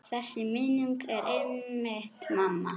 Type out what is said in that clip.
Þessi minning er einmitt mamma.